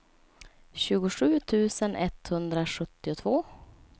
tjugosju tusen etthundrasjuttiotvå